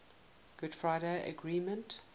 good friday agreement